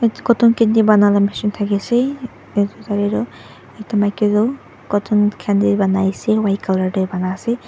cotton candy banala machine thakiase ekta maki tu cotton candy banaiase white colour tae bana ase.